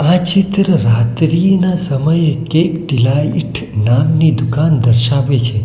આ ચિત્ર રાત્રિના સમયે કેક ડીલાઈટ નામની દુકાન દર્શાવે છે.